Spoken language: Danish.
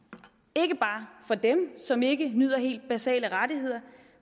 ikke bare for dem som ikke nyder helt basale rettigheder